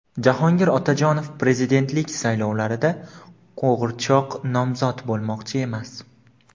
Jahongir Otajonov prezidentlik saylovlarida "qo‘g‘irchoq nomzod" bo‘lmoqchi emas.